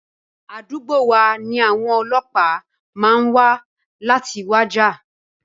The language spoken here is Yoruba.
Àdúgbò wa ni àwọn ọlọ́pàá máa wa láti wá jà.